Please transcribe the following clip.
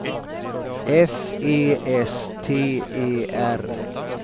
F E S T E R